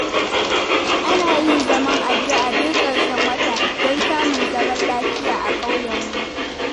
Ana yin zaman addu'a duk ƙarshen wata, don samun zaman lafiya a ƙauyenmu.